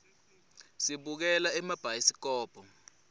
sibukela emabhayisikobho